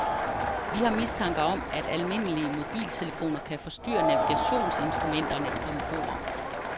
Vi har mistanke om, at almindelige mobiltelefoner kan forstyrre navigationsinstrumenterne om bord.